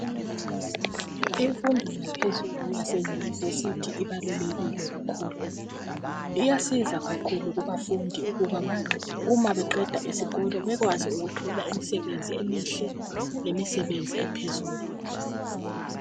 Imfundo yaphezulu yaseyunivesithi ibalulekile kakhulu iyasiza kakhulu kubafundi ukuba ma beqeda iskolo bekwazi ukuthola imsebenzi emihle lemisebenzi ephezulu.